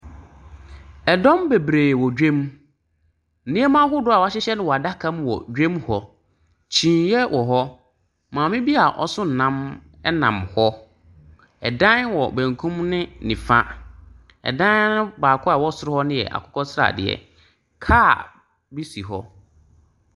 Ɛdɔm bebree wɔ dwam. Nneɛma ahodoɔ a wɔahyehyɛ no wɔ adaka mu wɔ dwam hɔ. Kyiniiɛ wɔ hɔ. Maame bi a ɔso ɛnam nam hɔ. Ɛdan wɔ benkum n nifa. Ɛdan baako a ɛwɔ soro hɔ no yɛ akokɔ sradeɛ. Car bi si hɔ.